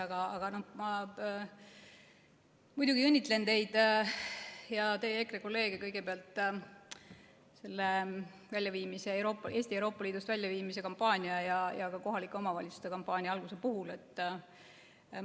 Aga ma muidugi kõigepealt õnnitlen teid ja teie EKRE kolleege Eesti Euroopa Liidust väljaviimise kampaania ja ka kohalike omavalitsuste kampaania alguse puhul.